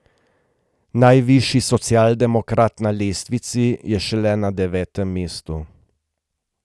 Najvišji socialdemokrat na lestvici je šele na devetem mestu.